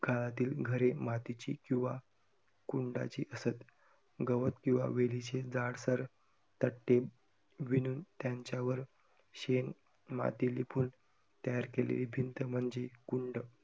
काळातील घरे मातीची किंवा कुंडाची असत. गवत किंवा वेलीचे जाड सर तट्टे विणून त्यांच्यावर शेण, माती लिपुन तयार केलेली भिंत म्हणजे कुंड